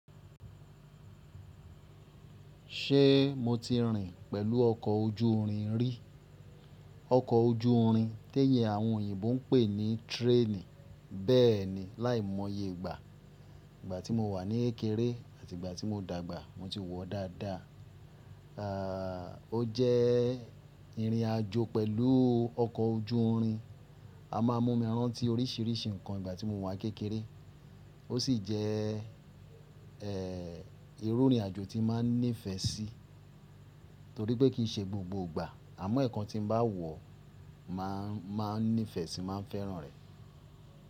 Ṣé mo ti rìn pẹ̀lú ọkọ̀ ojú irin rí? Ọkọ̀ ojú irin tí èyí àwọn oyìnbó ń pè ní tírénì. Bẹ́ẹ̀ni, láìmọye ìgbà. Ìgbà tí mo wà ní kékeré àti ìgbà tí mo dàgbà mo ti wọ̀ ọ́ dáadáa. Àà, ó jẹ́ ìrìn àjò pẹ̀lú ọkọ̀ ojú irin. A máa ń mú mi rántí oríṣìíríṣìí nǹkan ìgbà tí mo wà kékeré. Ó sì jẹ́, ẹ́, irú ìrìn àjò tí n maa ní ìfẹ́ sí, torí pé kì í ṣe gbogbo ìgbà. Àmọ́ ẹ́ẹ̀kan tí mo bá wọ̀ ọ́, màá a ní ìfẹ́ sí i, máa fẹ́ràn rẹ̀.